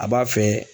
A b'a fɛ